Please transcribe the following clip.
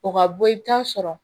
O ka bɔ i bɛ taa sɔrɔ